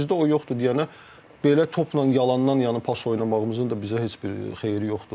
Bizdə o yoxdur deyənə belə topla yalandan, yəni pas oynamağımızın da bizə heç bir xeyri yoxdur.